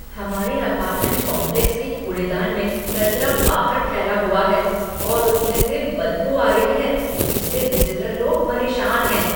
हमारे apartment complex के कूड़ेदान में कचरा बाबर फैला हुआ है और उसमें से बदबू आ रही है जिससे विज़िटर लोग परेशान हैं।